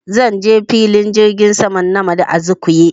Zan je filin jirgin saman nnamdi Azikiwe